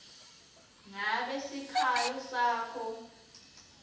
ngabe sikhalo sakho